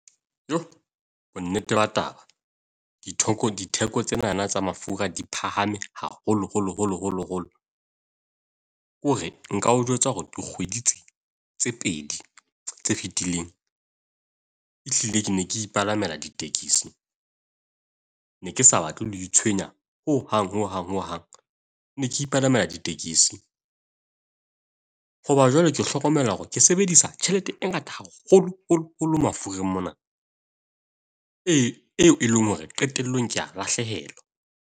Yooo, bonnete ba taba. Dithoko ditheko tsenana tsa mafura di phahame haholo holo holo holo. Ke hore nka o jwetsa hore dikgwedi tse tse pedi tse fitileng ehlile ke ne ke ipalamela ditekesi. Ne ke sa batle ho itshwenya ho hang hang hang. Ne ke ipalamela ditekesi. Hoba jwale ke hlokomela hore ke sebedisa tjhelete e ngata haholo holo holo mafura mona e leng hore qetellong k ea lahlehelwa.